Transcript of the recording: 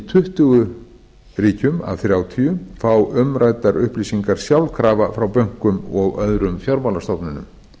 tuttugu ríkjum af þrjátíu fá umræddar upplýsingar sjálfkrafa frá bönkum og öðrum fjármálastofnunum